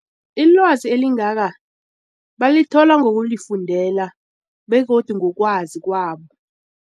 Ilwazi elingaka balithola ngokulifundela begodu ngokwazi kwabo.